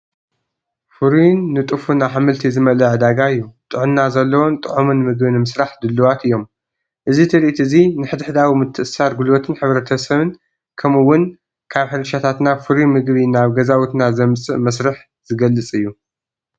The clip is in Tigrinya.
ፍሩይን ንጡፍን ኣሕምልቲ ዝመልአ ዕዳጋ እዩ። ጥዕና ዘለዎን ጥዑምን ምግቢ ንምስራሕ ድሉዋት እዮም። እዚ ትርኢት እዚ ንሓድሕዳዊ ምትእስሳር ጉልበትን ሕብረተሰብን፡ ከምኡ’ውን ካብ ሕርሻታትና ፍሩይ መግቢ ናብ ገዛውትና ዘምጽእ መስርሕ ዝገልጽ እዩ።